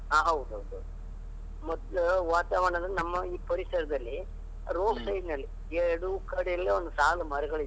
ಹಾ ಹೌದೌದು, ಮೊದ್ಲು ವಾತಾವರಣ ಅಂದ್ರೆ ನಮ್ಮ ಈ ಪರಿಸರದಲ್ಲಿ road side ನಲ್ಲಿ, ಎರಡು ಕಡೆಯಲ್ಲಿ ಒಂದು ಸಾಲು ಮರಗಳಿದ್ವು.